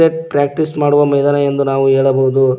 Practice ಮಾಡುವ ಮೈದಾನ ಎಂದು ನಾವು ಹೇಳಬಹುದು.